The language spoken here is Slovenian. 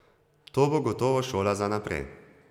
To bo gotovo šola za naprej.